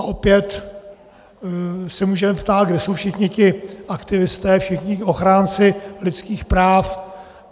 A opět se můžeme ptát, kde jsou všichni ti aktivisté, všichni ti ochránci lidských práv.